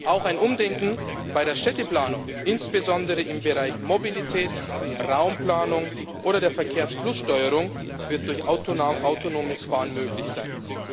Auch ein Umdenken bei der Städteplanung, insbesondere im Bereich Mobilität, Raumplanung oder der Verkehrsflusssteuerung, wird durch autonomes Fahren möglich sein.